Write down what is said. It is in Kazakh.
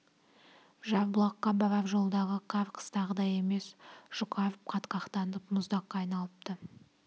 жарбұлаққа барар жолдағы қар қыстағыдай емес жұқарып қатқақтанып мұздаққа айналыпты